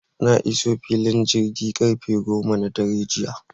Na iso filin jirgin sama karfe goma na dare jiya